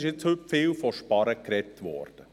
Heute wurde viel von Sparen gesprochen.